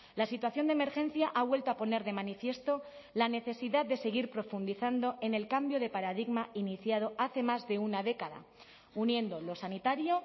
la situación de emergencia ha vuelto a poner de manifiesto la necesidad de seguir profundizando en el cambio de paradigma iniciado hace más de una década uniendo lo sanitario